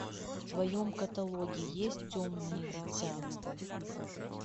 в твоем каталоге есть темное дитя